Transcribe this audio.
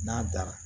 N'a dara